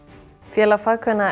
félag